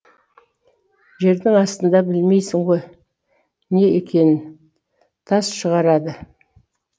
жердің астында білмейсің ғой не екенін тас шығарады